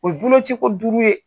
O ye boloci ko duuru ye.